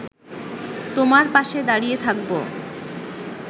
তোমার পাশে দাঁড়িয়ে থাকব